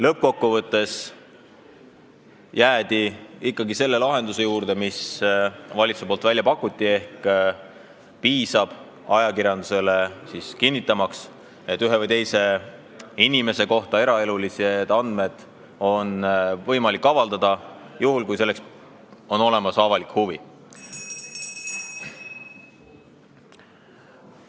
Lõppkokkuvõttes jäädi ikkagi selle lahenduse juurde, mille valitsus välja pakkus: ajakirjandusele piisab kinnitamisest, et ühe või teise inimese eraelulisi andmeid on võimalik avaldada juhul, kui selleks on olemas avalik huvi.